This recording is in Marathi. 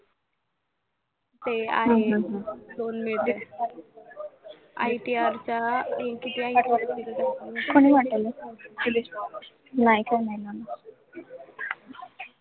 ते आहे ITR चा कुणी पाठवलं माहिती नाही मला